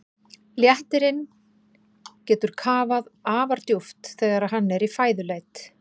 Léttirinn getur kafað afar djúpt þegar hann er í fæðuleit.